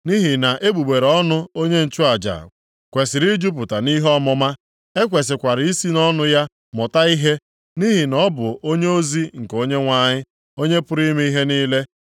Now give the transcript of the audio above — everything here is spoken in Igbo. “Nʼihi na egbugbere ọnụ onye nchụaja kwesiri ijupụta nʼihe ọmụma; e kwesikwara isi nʼọnụ ya mụta ihe, nʼihi na ọ bụ onyeozi nke Onyenwe anyị, Onye pụrụ ime ihe niile.